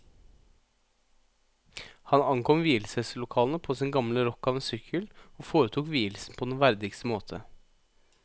Han ankom vielseslokalene på sin gamle rokk av en sykkel, og foretok vielsen på den verdigste måte.